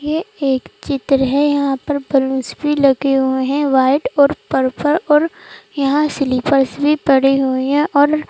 ये एक चित्र है यहां पर बलूंस भी लगे हुए हैं वाइट और पर्पल और यहां स्लिपर्स भी पड़े हुए हैं और--